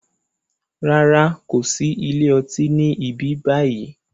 Rárá, kòsi ilé ọtí ni ibi báyìí